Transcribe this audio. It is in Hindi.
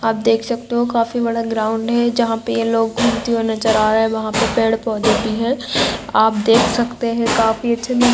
आप देख सकते हो काफी बड़ा ग्राउंड है जहां पे ये लोग घूमते हुए नज़र आ रहे है वहां पे पेड़ पौधे भी है आप देख सकते है काफी अच्छा नजारा--